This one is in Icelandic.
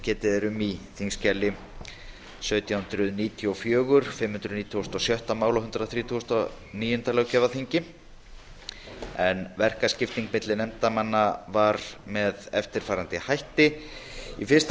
getið er um í þingskjali sautján hundruð níutíu og fjórir fimm hundruð nítugasta og sjötta máli að unnið yrði að verkaskiptingin á milli nefndarmanna var með eftirfarandi hætti í fyrsta